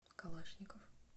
калашников